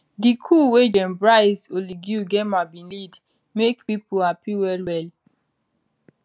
di coup wey gen brice oligui ngeuma bin lead make pipo happy wellwell